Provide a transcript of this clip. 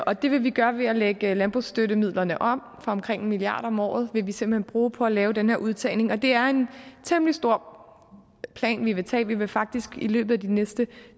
og det vil vi gøre ved at lægge landbrugsstøttemidlerne om omkring en milliard kroner om året vil vi simpelt hen bruge på at lave den her udtagning og det er en temmelig stor plan vi vil tage vi vil faktisk i løbet af de næste